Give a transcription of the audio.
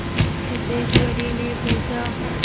सिद्धेश्वरीने पूछा